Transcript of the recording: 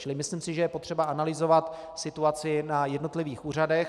Čili myslím si, že je potřeba analyzovat situaci na jednotlivých úřadech.